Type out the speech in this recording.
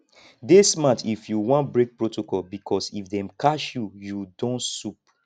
dey smart if you won break protocol because if dem catch you you don soup